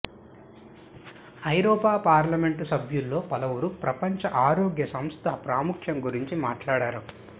ఐరోపా పార్లమెంటు సభ్యుల్లో పలువురు ప్రపంచ ఆరోగ్య సంస్థ ప్రాముఖ్యం గురించి మాట్లాడారు